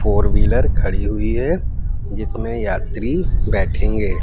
Four wheeler खड़ी हुई है जिसमें यात्री बैठेंगे।